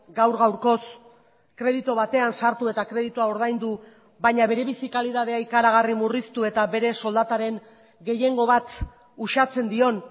gaur gaurkoz kreditu batean sartu eta kreditua ordaindu baina bere bizi kalitatea ikaragarri murriztu eta bere soldataren gehiengo bat usatzen dion